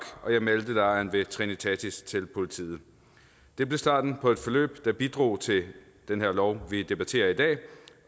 og jeg meldte lejren ved trinitatis kirke til politiet det blev starten på et forløb der bidrog til den her lov vi debatterer i dag